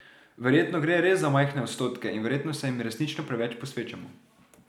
Verjetno gre res za majhne odstotke in verjetno se jim resnično preveč posvečamo.